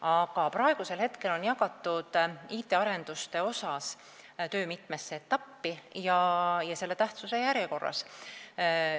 Aga praegu on IT-arenduste töö jagatud mitmesse etappi tähtsuse järjekorras.